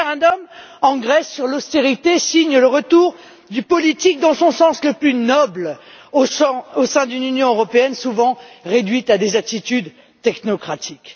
Ce référendum en Grèce sur l'austérité signe le retour du politique dans son sens le plus noble, au sein d'une Union européenne souvent réduite à des attitudes technocratiques.